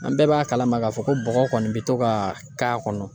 An bɛɛ b'a kalama k'a fɔ ko bɔgɔ kɔni bɛ to ka k'a kɔnɔ.